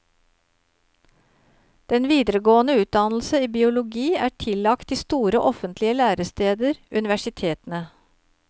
Den videregående utdannelse i biologi er tillagt de store offentlige læresteder, universitetene.